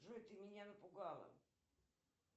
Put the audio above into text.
джой ты меня напугала